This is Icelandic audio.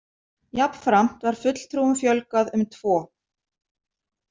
Jafnframt var fulltrúum fjölgað um tvo.